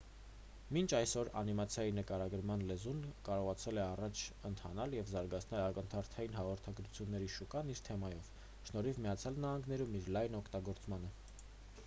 մինչ այսօր անիմացիայի նկարագրման լեզուն կարողացել է առաջ ընթանալ և զարգացնել ակնթարթային հաղորդագրությունների շուկան իր տեմպով շնորհիվ միացյալ նահանգներում իր լայն օգտագործմանը